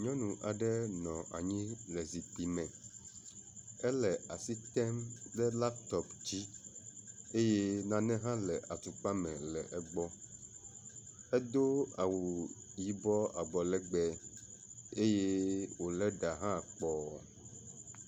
Nyɔnu aɖe nɔ anyi le zikpui me ele asi tem ɖe laptɔp dzi eye nane hã le atukpa me le egbɔ. Edo awu yibɔ abɔlegbe eye wo le ɖa hã kpɔ.